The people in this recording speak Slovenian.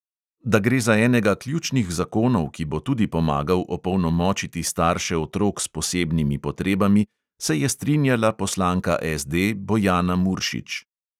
Da gre za enega ključnih zakonov, ki bo tudi pomagal opolnomočiti starše otrok s posebnimi potrebami, se je strinjala poslanka SD bojana muršič.